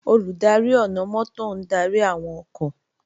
Olùdarí ọ̀nà-mọ́tò ń darí àwọn ọkọ̀